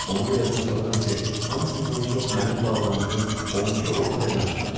Onu da yadıma salıram ki, hamısından çox mənim bağlandığım 12 orta rəqəm çıxırdı.